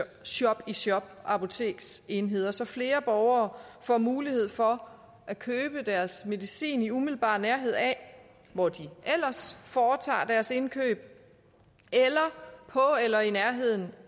shop i shop apoteksenheder så flere borgere får mulighed for at købe deres medicin i umiddelbar nærhed af hvor de ellers foretager deres indkøb eller på eller i nærheden